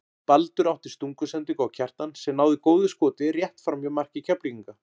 Baldur átti stungusendingu á Kjartan sem náði góðu skoti rétt framhjá marki Keflvíkinga.